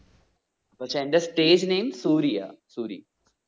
പക്ഷെ എൻ്റെ stage name Suriya Suri.